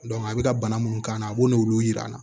a bɛ ka bana munnu k'a la a b'o n'olu yir'an na